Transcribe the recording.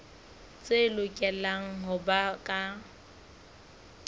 tse lokelang ho ba ka